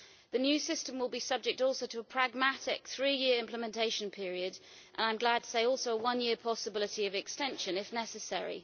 The new system will be subject also to a pragmatic three year implementation period and, I'm glad to say, also one year possibility of extension, if necessary.